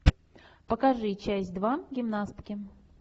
покажи часть два гимнастки